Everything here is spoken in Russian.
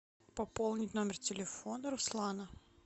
пополнить номер телефона руслана